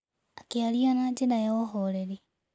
Akĩaria na njĩra ya ũhooreri.